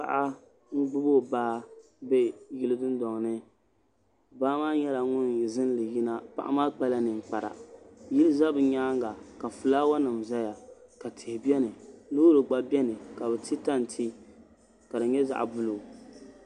Paɣa n gbubi o baa bɛ yili dundɔŋ ni baa maa nyɛla ŋun zinli yina paɣa maa kpa la ninkpara yili za bi nyaanga ka filaawa nima zaya ka tihi bɛni loori gba bɛni ka bi ti tanti ka di nyɛ zaɣa buluu.